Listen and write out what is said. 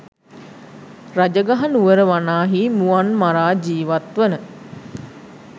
රජගහනුවර වනාහි මුවන් මරා ජීවත්වන